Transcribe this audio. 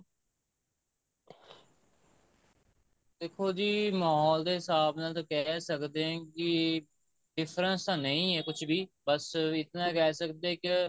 ਦੇਖੋ ਜੀ ਮਹੋਲ ਦੇ ਹਿਸਾਬ ਨਾਲ ਤਾਂ ਕਹਿ ਸਕਦੇ ਹਾਂ ਕਿ difference ਤਾਂ ਨਹੀਂ ਹੈ ਕੁੱਝ ਵੀ ਬੱਸ ਇਤਨਾ ਕਹਿ ਸਕਦੇ ਆ ਕਿ